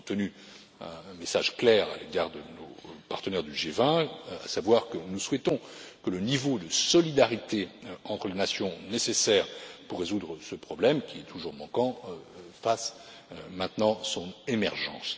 Nous avons tenu un message clair à l'égard de nos partenaires du G20, à savoir que nous souhaitons que le niveau de solidarité entre les nations nécessaire pour résoudre ce problème, qui est toujours manquant, fasse maintenant son émergence.